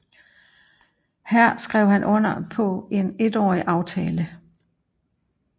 Her skrev han under på en etårig aftale